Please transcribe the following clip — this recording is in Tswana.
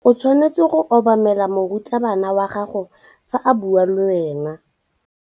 O tshwanetse go obamela morutabana wa gago fa a bua le wena.